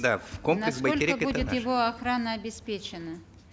да будет его охрана обеспечена